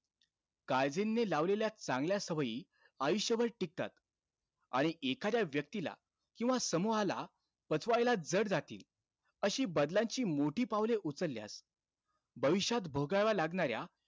काईझेनने लावलेल्या चांगल्या सवयी आयुष्यभर टिकतात. आणि एखाद्या व्यक्तीला किंवा समूहाला पचवायला जड जातील, अशी बदलांची मोठी पावले उचलल्यास भविष्यात भोगाव्या लागणाऱ्या,